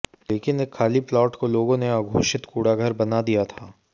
लेकिन एक खाली प्लाट को लोगों ने अघोषित कूड़ाघर बना दिया था